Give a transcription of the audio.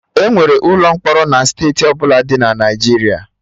Enwere ụlọ mkpọrọ na steeti ọbụla dị na Naijiria